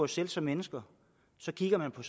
selv som mennesker kigger vi på